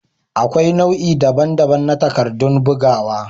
Akwai nau'i daban-daban na takardun bugawa.